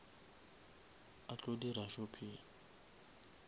a tlo dira shopping